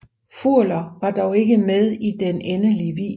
Furler var dog ikke med i den endelige video